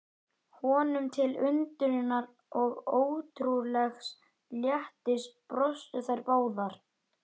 Steinar geta myndast í göngum kirtlanna og valdið bólgu.